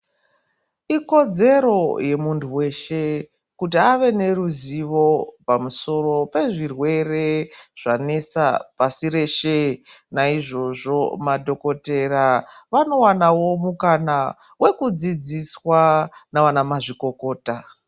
Ikodzero yemuntu weshe kuti ave neruzivo pezviirwere zvanesa pasi reshe naizvozvo madhokotera vanowanawo mukana wekudzidziswa navana mazvikokota.